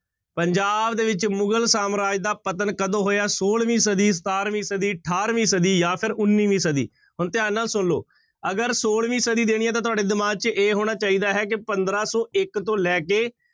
ਪੰਜਾਬ ਦੇ ਵਿੱਚ ਮੁਗ਼ਲ ਸਾਮਰਾਜ ਦਾ ਪਤਨ ਕਦੋਂ ਹੋਇਆ? ਛੋਲਵੀਂ ਸਦੀ, ਸਤਾਰਵੀਂ ਸਦੀ, ਅਠਾਰਵੀਂ ਸਦੀ ਜਾਂ ਫਿਰ ਉੱਨਵੀਂ ਸਦੀ, ਹੁਣ ਧਿਆਨ ਨਾਲ ਸੁਣ ਲਓ ਅਗਰ ਛੋਲਵੀਂ ਸਦੀ ਦੇਣੀ ਹੈ ਤਾਂ ਤੁਹਾਡੇ ਦਿਮਾਗ ਚ ਇਹ ਹੋਣਾ ਚਾਹੀਦਾ ਹੈ ਕਿ ਪੰਦਰਾਂ ਸੌ ਇੱਕ ਤੋਂ ਲੈ ਕੇ